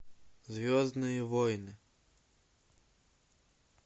звездные войны